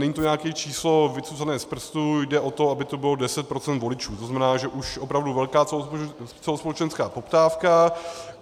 Není to nějaké číslo vycucané z prstu, jde o to, aby to bylo 10 % voličů, to znamená, že už opravdu velká celospolečenská poptávka.